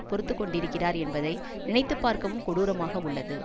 பொறுத்து கொண்டிருக்கிறார் என்பதை நினைத்து பார்க்கவும் கொடூரமாக உள்ளது